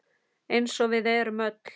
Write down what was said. Eins og við erum öll.